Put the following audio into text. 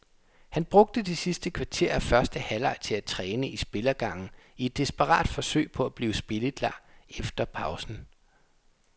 Han brugte det sidste kvarter af første halvleg til at træne i spillergangen i et desperat forsøg på at blive spilleklar efter pausen.